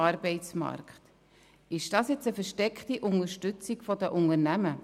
Ist dies nun eine versteckte Unterstützung der Unternehmen?